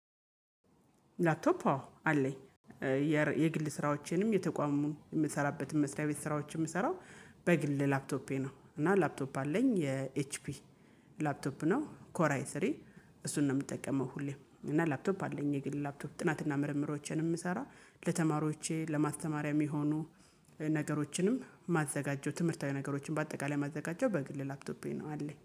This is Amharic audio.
ላፕቶፕ አወ አለኝ የግል ስራዎችንም የተቋሙን የምሰራበትን መስሪያ ቤት ስራዎችን የምሰራው በግል ላፕቶፔ ነው። እና ላፕቶፕ አለኝ የኤችፒ ላፕቶፕ ነው ኮራይ ስሪ እሱን ነው። የምጠቀመው ሁሌም እና ላፕቶፕ አለኝ የግል ላፕቶፕ ጥናትና ምርምሮቼን የምሰራ ለተማሪዎቼ ለማስተማሪያም የሚሆኑ ነገሮችንም ማዘጋጀው ትምህርታዊ ነገሮችን በአጠቃላይ ማዘጋጀው በግል ላፕቶፔ ነው አለኝ